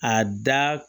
A da